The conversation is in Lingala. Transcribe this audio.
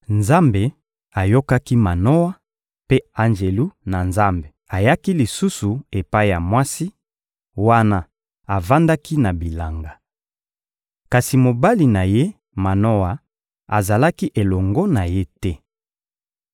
Nzambe ayokaki Manoa, mpe Anjelu na Nzambe ayaki lisusu epai ya mwasi, wana avandaki na bilanga. Kasi mobali na ye, Manoa, azalaki elongo na ye te.